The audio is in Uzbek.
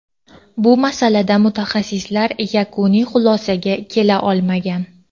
bu masalada mutaxassislar yakuniy xulosaga kela olmagan.